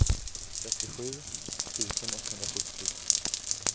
trettiosju tusen etthundrasjuttio